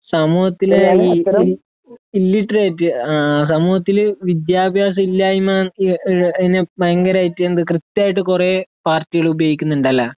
സമൂഹത്തിലെ ഈ ഇല്ലിട്രേറ്റ് സമൂഹത്തിൽ വിദ്യാഭ്യാസമില്ലായ്മ അതിനെ ഭയങ്കരായിട്ട് അതിനെ കൃത്യായിട്ട് കുറെ പാരട്ടികള് ഉപയോഗിക്കുന്നുണ്ട് അല്ലേ